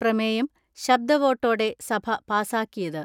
പ്രമേയം ശബ്ദ വോട്ടോടെ സഭ പാസാക്കിയത്.